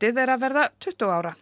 er að verða tuttugu ára